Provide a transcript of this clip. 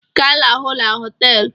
Ga, lahụ n'hoteelu!